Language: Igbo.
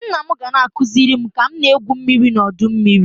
Nna m ga na-akụziri m ka m na-egwu mmiri n'ọdọ mmiri